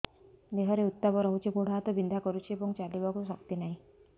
ଦେହରେ ଉତାପ ରହୁଛି ଗୋଡ଼ ହାତ ବିନ୍ଧା କରୁଛି ଏବଂ ଚାଲିବାକୁ ଶକ୍ତି ନାହିଁ